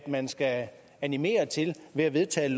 man skal animere til ved at vedtage et